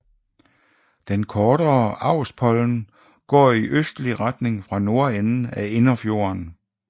Den kortere Austpollen går i østlig retning fra nordenden af Innerfjorden